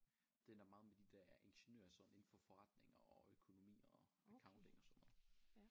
Den er meget med de der ingeniører sådan indenfor forretninger og økonomi og accounting og sådan noget